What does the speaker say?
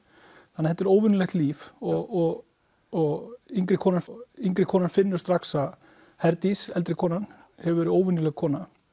þetta er óvenjulegt líf og og yngri konan yngri konan finnur strax að Herdís eldri konan hefur verið óvenjuleg kona